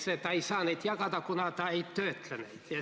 " Ta ei saa neid jagada, kuna on öeldud, et ta ei töötle neid.